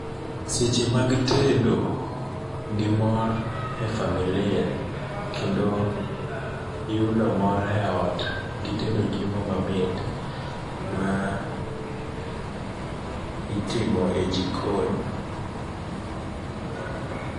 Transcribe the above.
Seche mag deto gimor e familia kendo yudo mor e ot gideto chiemo mamit maitimo e jikon.